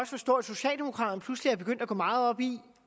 forstå at socialdemokraterne pludselig er begyndt at gå meget op i